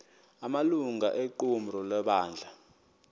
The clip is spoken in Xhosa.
amalungu equmrhu lebandla